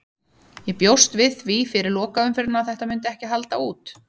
Ég bjóst við því fyrir lokaumferðina að þetta myndi ekki halda út.